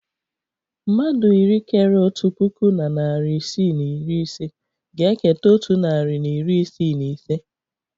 Mmadụ iri kéré otu puku na narị isii na iri ise ga-eketa otu narị na iri isii na ise